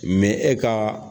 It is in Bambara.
e kan.